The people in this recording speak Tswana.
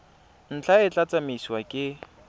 ntlha e tla tsamaisiwa ke